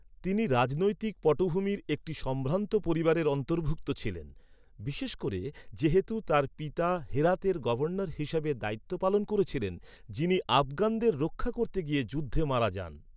তিনি রাজনৈতিক পটভূমির একটি সম্ভ্রান্ত পরিবারের অন্তর্ভুক্ত ছিলেন, বিশেষ করে যেহেতু তার পিতা হেরাতের গভর্নর হিসেবে দায়িত্ব পালন করেছিলেন যিনি আফগানদের রক্ষা করতে গিয়ে যুদ্ধে মারা যান।